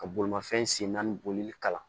Ka bolimafɛn sen naani bolili kalan